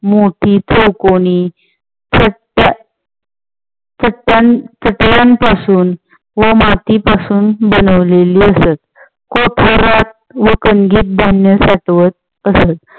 मोठी, चौकोनी व माती पासून बनवलेली असतं. व कानगीत धन्य साठवत असत.